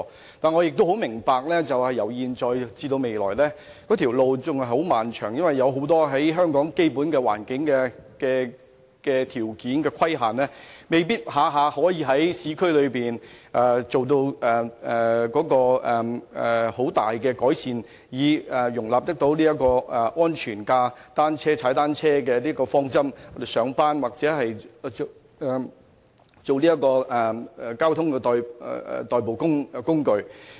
然而，我也明白由現在至未來仍是漫漫長路，因為受香港基本環境眾多條件所限，往往未必可以在市區內作出很大的改善，以迎合安全踏單車的方針，使單車成為上班或交通的代步工具。